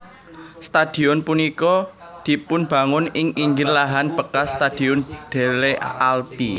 Stadion punika dipunbangun ing inggil lahan bekas Stadion Delle Alpi